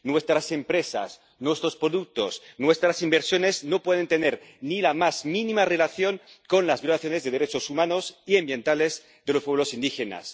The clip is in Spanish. Nuestras empresas, nuestros productos, nuestras inversiones no pueden tener ni la más mínima relación con las violaciones de los derechos humanos y ambientales de los pueblos indígenas.